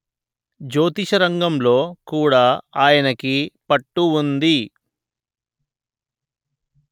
జ్యోతిషరంగంలో కూడా ఆయనకి పట్టు ఉంది